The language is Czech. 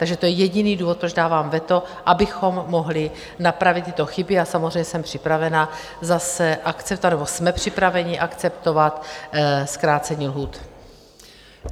Takže to je jediný důvod, proč dávám veto, abychom mohli napravit tyto chyby, a samozřejmě jsem připravena zase akceptovat, nebo jsme připraveni akceptovat zkrácení lhůt.